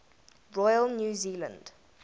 royal new zealand